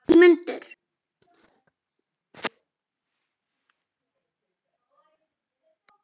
Ingimundur